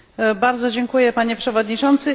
Bardzo dziękuję, Panie Przewodniczący.